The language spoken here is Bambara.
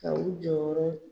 Ka u jɔyɔrɔ